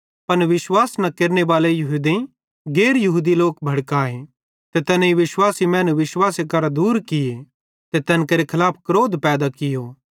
पन विश्वास न केरनेबाले यहूदेईं गैर यहूदी लोक भड़काए ते तैनेईं विश्वासी मैनू विश्वासे करां दूर किये ते तैन केरे खलाफ क्रोध पैदा कियो